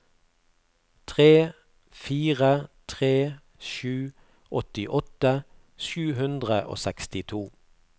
tre fire tre sju åttiåtte sju hundre og sekstito